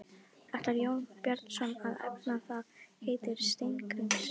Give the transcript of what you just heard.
Ætlar Jón Bjarnason að efna það heit Steingríms?